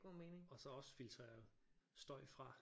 Og så også filtrere støj fra